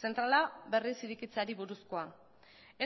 zentrala berriz irekitzeari buruzkoa